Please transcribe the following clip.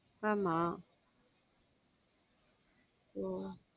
ஆமாம் உம்